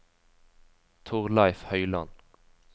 Thorleif Høyland